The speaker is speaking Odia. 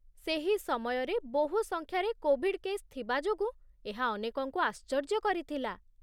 ସେହି ସମୟରେ ବହୁ ସଂଖ୍ୟାରେ କୋଭିଡ କେସ୍ ଥିବା ଯୋଗୁଁ ଏହା ଅନେକଙ୍କୁ ଆଶ୍ଚର୍ଯ୍ୟ କରିଥିଲା